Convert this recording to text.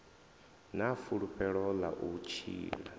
na fulufhelo ḽa u tshila